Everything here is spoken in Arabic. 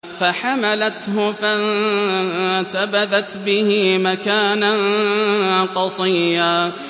۞ فَحَمَلَتْهُ فَانتَبَذَتْ بِهِ مَكَانًا قَصِيًّا